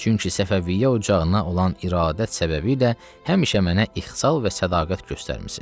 Çünki Səfəviyyə ocağına olan iradə səbəbilə həmişə mənə ixlas və sədaqət göstərmisiz.